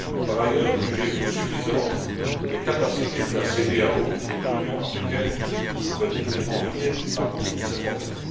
Par ailleurs, jugez vous suffisantes les capacités de la CEDEAO et de l'Union africaine pour venir à bout de ce problème?